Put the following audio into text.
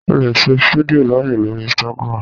o le ṣe fídíò laaye lori Instagram